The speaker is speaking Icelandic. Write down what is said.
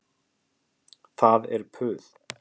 Það er puð.